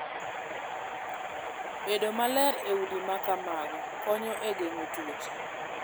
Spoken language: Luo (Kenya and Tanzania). Bedo maler e udi ma kamago konyo e geng'o tuoche.